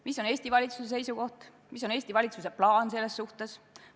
Mis on Eesti valitsuse seisukoht, mis on Eesti valitsuse plaan selles suhtes?